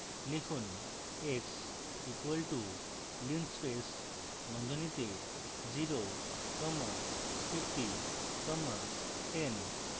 লিখুন x equals to linspace বন্ধনীতে 0 comma 50 comma 10